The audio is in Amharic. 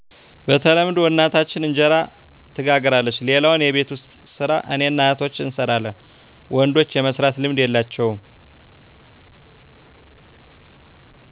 በተለምዶ እናታችን እንጀራ ትጋግራለች ሌላውን የቤት ውስጥ ሰራ እኔና እህቶቸ እንሰራለን ወንዶች የመስራት ልምድ የላቸውም